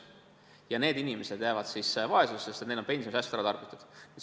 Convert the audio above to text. Ja need inimesed jäävad vaesusesse, sest neil on pensionisäästud ära tarbitud.